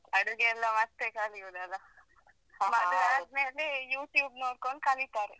ಅಡುಗೆಯೆಲ್ಲ ಮತ್ತೆ ಕಲಿಯುದಲ್ಲಾ ಮದ್ವೆ ಆದ್ ಮೇಲೆ YouTube ನೋಡ್ಕೊಂಡ್ ಕಲಿತಾರೆ.